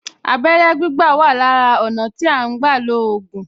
Abẹ́rẹ́ gbígbà wà lára ọ̀nà tí à ń gbà lo ògùn